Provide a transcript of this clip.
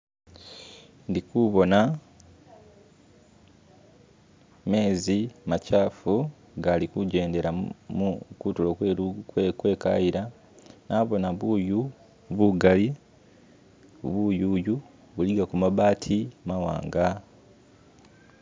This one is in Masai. Ndikubona mezi machafu galu kujendela kutulo kwe kayila nabona buyu bugali buyuyu buligako mabati mawanga